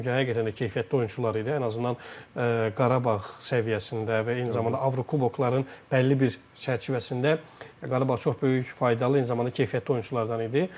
Çünki həqiqətən də keyfiyyətli oyunçular idi, ən azından Qarabağ səviyyəsində və eyni zamanda Avrokubokların bəlli bir çərçivəsində Qarabağa çox böyük faydalı, eyni zamanda keyfiyyətli oyunçulardan idi.